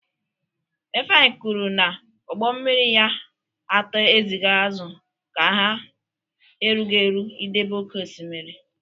Ifeanyi kwuru na ụgbọ mmiri ya atọ ezigara azụ ka ha erughị eru idebe oke osimiri.